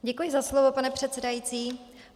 Děkuji za slovo, pane předsedající.